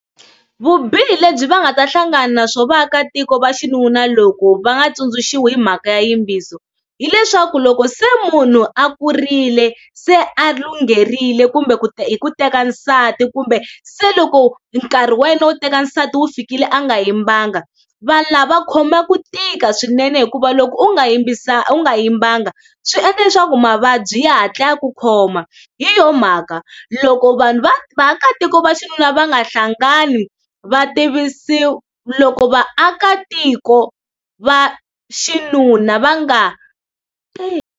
Vubihi lebyi va nga ta hlangana na swo vaakatiko va xinuna loko va nga tsundzuxiwa hi mhaka ya yimbiso, hileswaku loko se munhu a kurile se a lungherile kumbe ku hi ku teka nsati kumbe se loko nkarhi wa yena wo teka nsati wu fikile a nga yimbanga. Vanhu lava khoma ku tika swinene hikuva loko u nga yimbisaka u nga yimbanga swi endla leswaku mavabyi ya hatla ya ku khoma, hi yo mhaka loko vaakatiko va xinuna va nga hlangani va tivisiwa, loko vaakatiko va xinuna va nga.